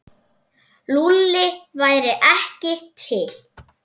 Lúlli væri ekki til.